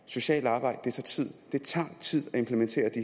socialt arbejde tid det tager tid at implementere de